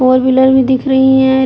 Four wheeler भी दिख रही हैं।